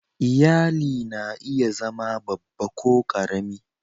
Iyali na iya zama babba ko ƙarami.